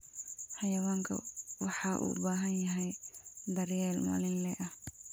Xayawaanku waxay u baahan yihiin daryeel maalinle ah.